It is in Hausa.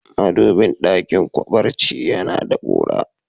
Madubi dakin barci ya na da kura.